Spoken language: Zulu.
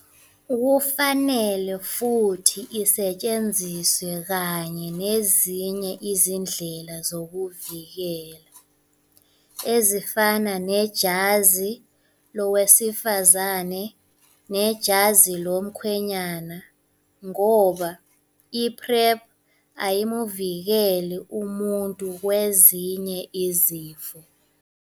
Kufanele futhi isetshenziswe kanye nezinye izindlela zokuzivikela, ezifana nejazi lowezifazane nejazi lomkhwenyana, ngoba i-PrEP ayimu vikeli umuntu kwezinye izifo.